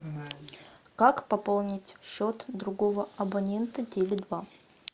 как пополнить счет другого абонента теле два